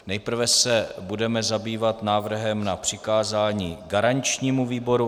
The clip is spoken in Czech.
Nejprve se budeme zabývat návrhem na přikázání garančnímu výboru.